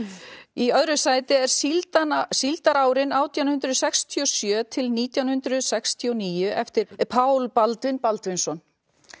í öðru sæti er síldarárin síldarárin átján hundruð sextíu og sjö til nítján hundruð sextíu og níu eftir Pál Baldvin Baldvinsson